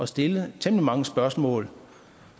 stille temmelig mange spørgsmål